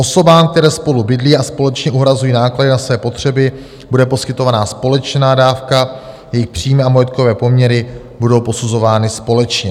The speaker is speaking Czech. Osobám, které spolu bydlí a společně uhrazují náklady na své potřeby bude poskytována společná dávka, jejich příjmy a majetkové poměry budou posuzovány společně.